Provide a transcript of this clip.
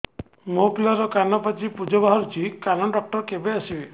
ମୋ ପିଲାର କାନ ପାଚି ପୂଜ ବାହାରୁଚି କାନ ଡକ୍ଟର କେବେ ଆସିବେ